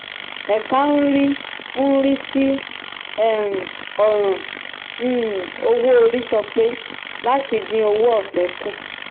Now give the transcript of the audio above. ẹ̀ka ń rí ń rí sí um ọ̀ràn um owó orí sọ pé láti dín owó ọ̀fẹ́ kù.